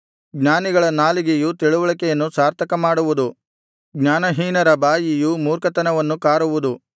ಜ್ಞಾನಿಗಳ ನಾಲಿಗೆಯು ತಿಳಿವಳಿಕೆಯನ್ನು ಸಾರ್ಥಕ ಮಾಡುವುದು ಜ್ಞಾನಹೀನರ ಬಾಯಿಯು ಮೂರ್ಖತನವನ್ನು ಕಾರುವುದು